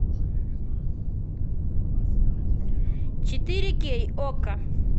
четыре кей окко